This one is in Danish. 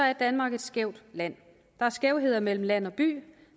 er danmark et skævt land der er skævheder mellem land og by